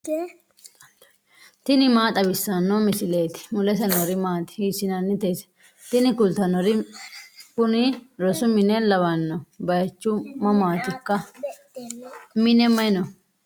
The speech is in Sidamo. tini maa xawissanno misileeti ? mulese noori maati ? hiissinannite ise ? tini kultannori kuni rosu mine lawanno baychu mamatikka mine mayi no